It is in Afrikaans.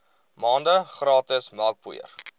maande gratis melkpoeier